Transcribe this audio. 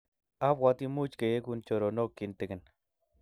abwatii much keyekun choronok kintonik.